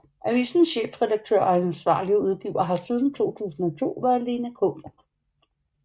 Avisens chefredaktør og ansvarlige udgiver har siden 2002 været Lena K